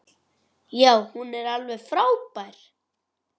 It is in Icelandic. Já, hún var alveg frábær!